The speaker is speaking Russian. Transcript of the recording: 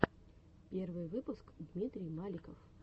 первый выпуск дмитрий маликов